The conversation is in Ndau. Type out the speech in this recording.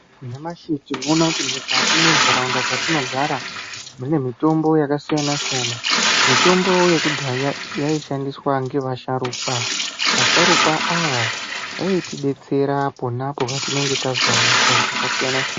Nyamashi tinoono kuti mukati mwentaraunda dzatinogara mune mitombo yakasiyana siyana mitombo yekudhaya yaishandiswa nevasharukwa vasharukwa ava vaitidetsera ponapo tinenge tazwa hosha dzaka siyana siya.